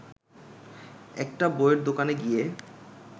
একটা বইয়ের দোকানে গিয়ে